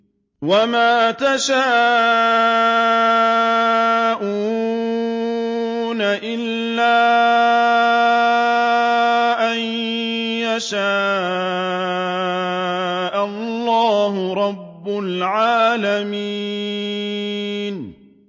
وَمَا تَشَاءُونَ إِلَّا أَن يَشَاءَ اللَّهُ رَبُّ الْعَالَمِينَ